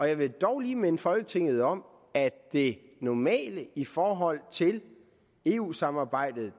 jeg vil dog lige minde folketinget om at det normale i forhold til eu samarbejdet